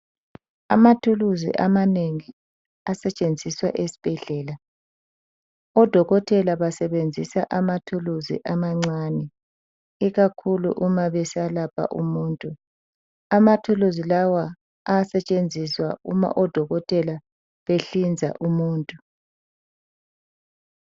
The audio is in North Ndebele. Amathuluzi amanengi asetshenziswa esibhedlela odokotela basebenzisa amathuluzi amancani ikakhulu uma beselapha umuntu amathuluzi lawa ayasetshenziswa uma odokotela behlinza umuntu.